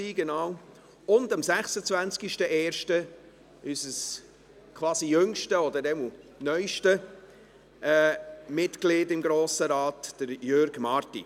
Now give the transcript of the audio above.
Und am 26. Januar war es unser quasi jüngstes oder neuestes Mitglied im Grossen Rat: Jürg Marti.